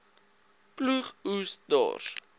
ploeg oes dors